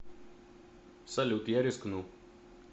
салют я рискну